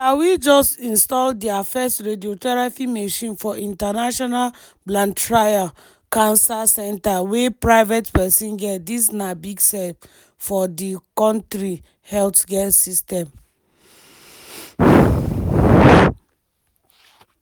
malawi just install dia first radiotherapy machine for international blantyre cancer centre wey private pesin get dis na big step for di kontri healthcare system.